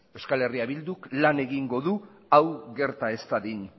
eh bilduk lan egingo du hau gerta ez dadin